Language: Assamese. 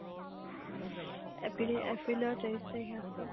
actually এপ্ৰিলৰ তেইছ তাৰিখে আছে